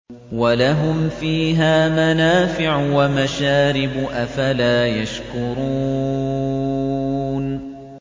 وَلَهُمْ فِيهَا مَنَافِعُ وَمَشَارِبُ ۖ أَفَلَا يَشْكُرُونَ